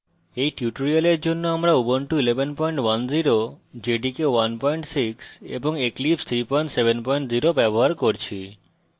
এই tutorial জন্য আমরা